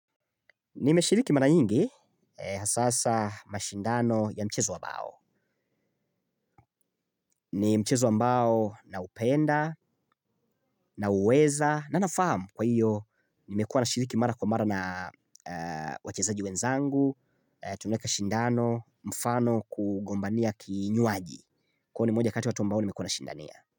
Nimeshiriki mara nyingi, hasasa mashindano ya mchezo wa bao. Ni mchezo ambao naupenda naueza na naufahamu kwa hiyo nimekuwa na shiriki mara kwa mara na wachezaji wenzangu, tunaeka shindano, mfano kugombania kinywaji. Kwa hiyo ni moja kati watu ambao nimekuwa nashindania.